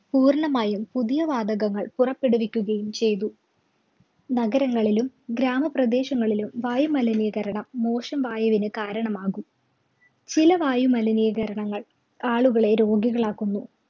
പൂര്‍ണ്ണമായും പുതിയ വാതകങ്ങള്‍ പുറപ്പെടുവിക്കുകയും ചെയ്തു. നഗരങ്ങളിലും, ഗ്രാമപ്രദേശങ്ങളിലും വായുമലിനീകരണം മോശം വായുവിന് കാരണമാകും. ചില വായുമലിനീകരണങ്ങള്‍ ആളുകളെ രോഗികളാക്കുന്നു.